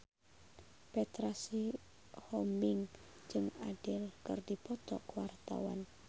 Petra Sihombing jeung Adele keur dipoto ku wartawan